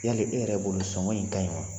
Yali e yɛrɛ bolo sɔngɔ in ka ɲi wa?